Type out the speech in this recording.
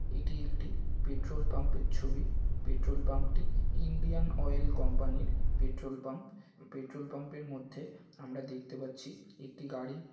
এটি একটি petrol pump এর ছবি। পেট্রোল পাম্প টি ইন্ডিয়ান অয়েল কোম্পানির পেট্রল পাম্প । পেট্রল পাম্প এর মধ্যে দেখতে পাচ্ছি একটি গাড়ি --